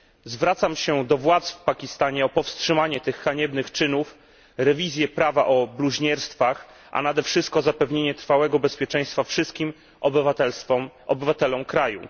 Zwracam się do władz w Pakistanie o powstrzymanie tych haniebnych czynów, rewizję prawa o bluźnierstwach, a nade wszystko zapewnienie trwałego bezpieczeństwa wszystkim obywatelom kraju.